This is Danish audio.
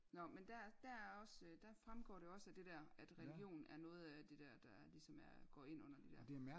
Nåh men der der er også der fremgår det også at det dér at religion er noget af det dér der ligesom er går ind under det dér